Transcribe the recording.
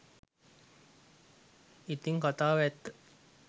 ඉතිං කතාව ඇත්ත